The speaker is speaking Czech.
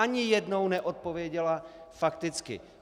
Ani jednou neodpověděla fakticky.